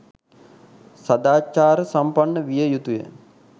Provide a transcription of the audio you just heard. සදාචාර සම්පන්න විය යුතුය